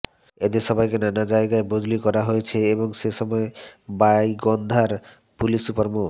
এদের সবাইকে নানা জায়গায় বদলি করা হয়েছে এবং সেসময় গাইবান্ধার পুলিশ সুপার মো